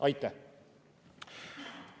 Aitäh!